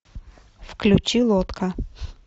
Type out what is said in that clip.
включи лодка